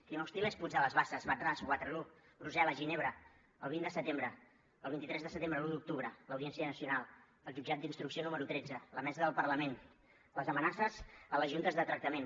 clima hostil és puig de les basses wad ras waterloo brussel·les ginebra el vint de setembre el vint tres de setembre l’un d’octubre l’audiència nacional el jutjat d’instrucció número tretze la mesa del parlament les amenaces a les juntes de tractament